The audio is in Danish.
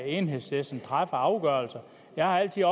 enhedslisten træffer af afgørelser jeg har altid